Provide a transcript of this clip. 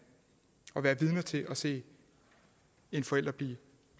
at være vidne til at se en forælder blive